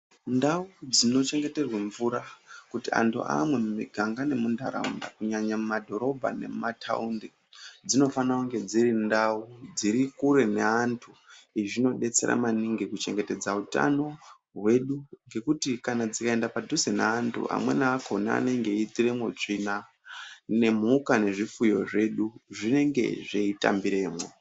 Ndau dzinochengeterwa mvura kuti antu amwe mumiganga nemuntaraunda, kunyanya mumadhorobha nemumathaundi dzinofanira kunge dziri ndau dziri kure neantu. Izvi zvinodetsera maningi kuchengetedza utano hwedu nekuti dzikaenda paduze neantu amweni akona anenge eiitiramwo tsvina nemhuka nezvifuyo zvedu zvinenge zveitambiramwo.